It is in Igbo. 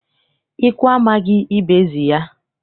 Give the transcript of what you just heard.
Ikwu amaghị, ibe ezi ya.